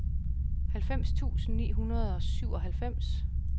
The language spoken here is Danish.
halvfems tusind ni hundrede og syvoghalvfems